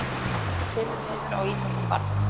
Kemur niður á íþróttum barna